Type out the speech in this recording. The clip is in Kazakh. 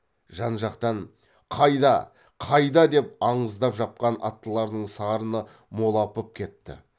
жан жақтан қайда қайда деп андыздап жапқан аттылардың сарыны молапып кетті